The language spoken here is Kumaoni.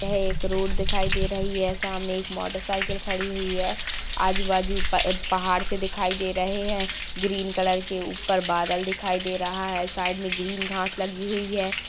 यह एक रोड दिखाई दे रही है सामने ऐक मोटर सायकल खड़ी हुई है आजु बाजु प-पहाड़ से दिखाई दे रहे हैं ग्रीन कलर के ऊपर बादल दिखाई दे रहा है साइड में ग्रीन घास लगी हुई है।